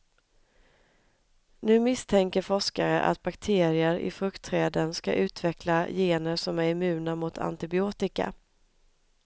Nu misstänker forskare att bakterier i fruktträden ska utveckla gener som är immuna mot antibiotika.